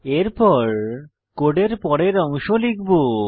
এরপর কোডের পরের অংশ লিখব